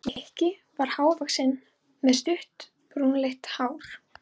Nikki var há- vaxinn og með stutt, brúnleitt hár.